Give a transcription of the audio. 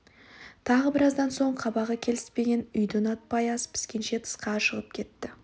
тағы біраздан соң қабағы келіспеген үйді ұнатпай ас піскенше тысқа шығып кетті